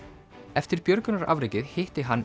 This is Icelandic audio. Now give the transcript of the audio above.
eftir björgunarafrekið hitti hann